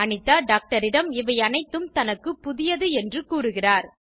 அனிதா டாக்டரிடம் இவையனைத்தும் தனக்கு புதியது என்று கூறுகிறார்